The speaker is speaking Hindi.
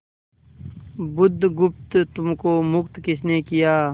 बुधगुप्त तुमको मुक्त किसने किया